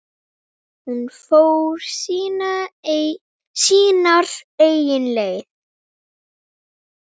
Hún fór sínar eigin leiðir.